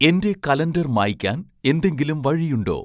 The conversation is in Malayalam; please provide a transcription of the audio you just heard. എന്റെ കലണ്ടർ മായ്ക്കാൻ എന്തെങ്കിലും വഴിയുണ്ടോ